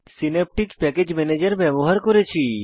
Synaptic package manager ব্যবহার করেছি